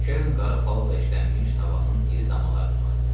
Kern qara palıdla işlənmiş tavanın iri damalarına baxdı.